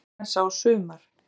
Nú er Þorláksmessa á sumar.